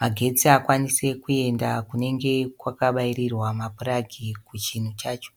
magetsi akwanise kuenda kunenge kwakabairirwa ma puragi kuchinhu chacho.